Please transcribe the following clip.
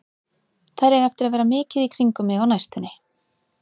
Þær eiga eftir að vera mikið í kringum mig á næstunni.